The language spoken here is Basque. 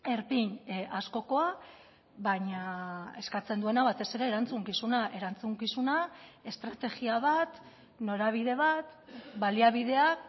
erpin askokoa baina eskatzen duena batez ere erantzukizuna erantzukizuna estrategia bat norabide bat baliabideak